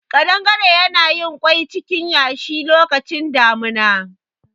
Ƙadangare yana yin kwai acikin yashi lokacin damuna